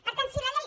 per tant si la llei